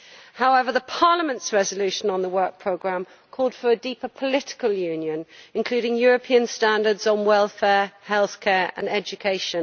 However, Parliament's resolution on the Work Programme called for a deeper political union, including European standards on welfare, health care and education.